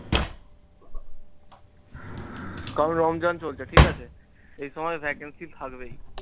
কারণ রমজান চলছে ঠিকাছে, এই সময় vacancy থাকবেই।